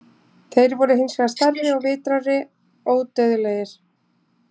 Þeir voru hins vegar stærri, vitrari og ódauðlegir.